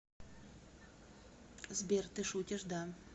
сбер ты шутишь да